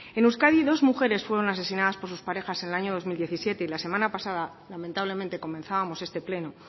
en euskadi dos mujeres fueron asesinadas por sus parejas en el año dos mil diecisiete y la semana pasada lamentablemente comenzábamos este pleno